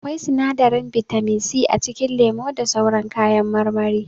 Akwai sinadarin bitamin c a cikin lemu da sauran kayan marmari.